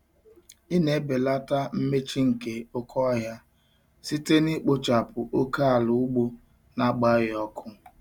Ị na-ebelata mmechi nke oke ohia site na ikpochapụ oke ala ugbo na-agbaghị ọkụ.